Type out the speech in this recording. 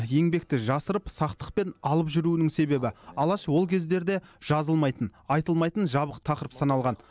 еңбекті жасырып сақтықпен алып жүруінің себебі алаш ол кездерде жазылмайтын айтылмайтын жабық тақырып саналған